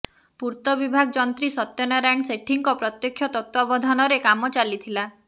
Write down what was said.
ପୂର୍ତ୍ତ ବିଭାଗ ଯନ୍ତ୍ରୀ ସତ୍ୟନାରାୟଣ ସେଠୀଙ୍କ ପ୍ରତ୍ୟକ୍ଷ ତତ୍ତ୍ୱାବଧାନରେ କାମ ଚାଲିଥିଲା